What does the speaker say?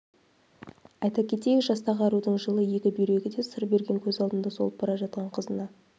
айта кетейік жастағы арудың жылы екі бүйрегі де сыр берген көз алдында солып бара жатқан қызына